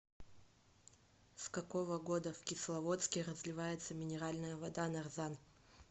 с какого года в кисловодске разливается минеральная вода нарзан